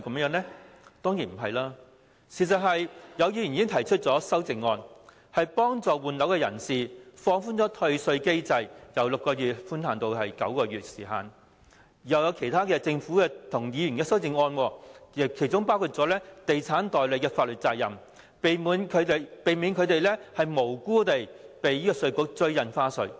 有議員已就《條例草案》提出修正案協助換樓人士，建議放寬退稅機制，將寬限期由6個月延長至9個月；另外政府和議員亦提出其他修正案，包括重新釐定地產代理的法律責任，避免他們無辜被稅務局追討印花稅。